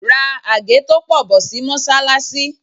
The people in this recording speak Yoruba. Ra àgé tó pọ̀ bọ̀ sí Mọ́sálásí.